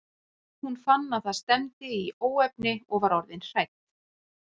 Hún fann að það stefndi í óefni og var orðin hrædd.